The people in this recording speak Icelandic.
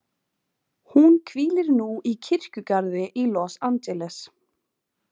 Hún hvílir nú í kirkjugarði í Los Angeles.